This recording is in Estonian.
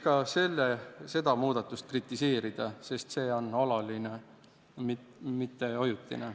Ka seda muudatust võiks kritiseerida, sest see on alaline, mitte ajutine.